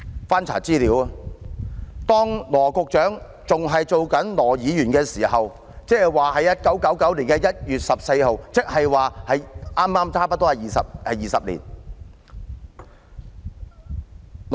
翻查資料，羅局長當年仍身為羅議員，即在1999年的1月14日，距今差不多20年。